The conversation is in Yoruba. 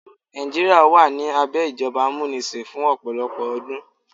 Nàìjíríà wà ní abẹ́ ìjọba amúnisìn fún ọ̀pọ̀lọpọ̀ ọdún.